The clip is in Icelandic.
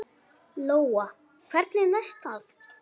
Lóa: Hvernig næst það?